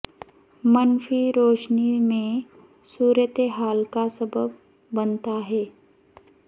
منفی روشنی میں صورت حال کا سبب بنتا ہے